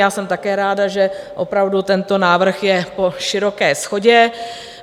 Já jsem také ráda, že opravdu tento návrh je po široké shodě.